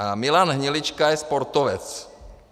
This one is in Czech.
A Milan Hnilička je sportovec.